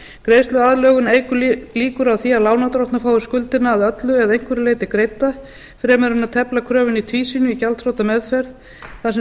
greiðsluaðlögun eykur líkur á því að lánardrottnar fái skuldina að öllu eða einhverju leyti greidda fremur en að tefla kröfunni í tvísýnu í gjaldþrotameðferð þar sem